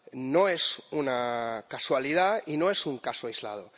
No es una casualidad y no es un caso aislado.